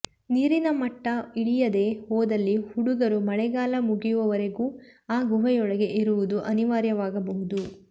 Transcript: ನೀರಿನ ಮಟ್ಟ ಇಳಿಯದೇ ಹೋದಲ್ಲಿ ಹುಡುಗರು ಮಳೆಗಾಲ ಮುಗಿಯುವವರೆಗೂ ಆ ಗುಹೆಯೊಳಗೆ ಇರುವುದು ಅನಿವಾರ್ಯವಾಗಬಹುದು